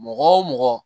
Mɔgɔ wo mɔgɔ